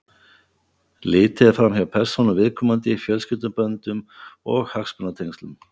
Litið er fram hjá persónu viðkomandi, fjölskylduböndum og hagsmunatengslum.